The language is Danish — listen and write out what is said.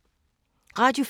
Radio 4